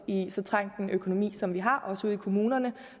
i så trængt en økonomi som vi har også ude i kommunerne